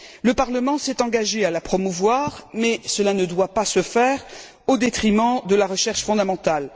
Le Parlement s'est engagé à la promouvoir mais cela ne doit pas se faire au détriment de la recherche fondamentale.